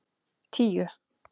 tíu